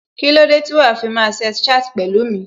Kílódé tí wàá fi máa sex chat pẹ̀lú mi?